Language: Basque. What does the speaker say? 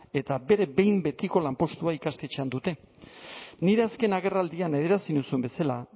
eta bere behin betiko lanpostua ikastetxean dute nire azken agerraldian adierazi nizun bezala